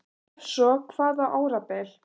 Ef svo er þá hvaða árabil?